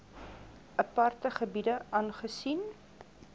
aparte gebiede aangesien